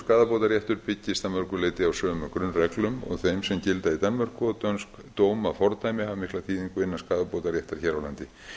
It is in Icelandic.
skaðabótaréttur byggist að mörgu leyti á sömu grunnreglum og þeim sem gilda í danmörku og dönsk dómafordæmi hafa mikla þýðingu innan skaðabótaréttar hér á landi